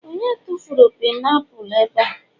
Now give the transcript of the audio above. onye tufuru painiapulu ebe?